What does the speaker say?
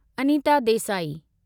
Anita Desai